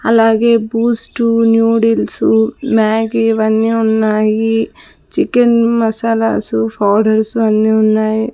అలాగే boost noodles Maggi ఇవన్నీ ఉన్నాయి చికెన్ మసాలాసు పౌడర్స్ అన్నీ ఉన్నాయి.